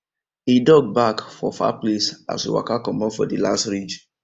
a dog bark for far place as we waka comot for the last ridge